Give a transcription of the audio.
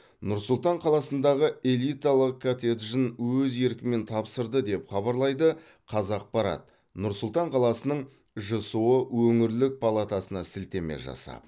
нұр сұлтан қаласындағы элиталық коттеджін өз еркімен тапсырды деп хабарлайды қазақпарат нұр сұлтан қаласының жсо өңірлік палатасына сілтеме жасап